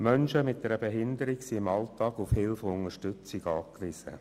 Menschen mit einer Behinderung sind im Alltag auf Hilfe und Unterstützung angewiesen.